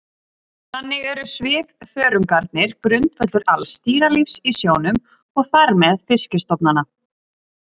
Þannig eru svifþörungarnir grundvöllur alls dýralífs í sjónum og þar með fiskistofnanna.